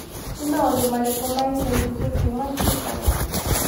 ni maundu marĩkũ ma ĩca ĩkũhĩ kũma tuko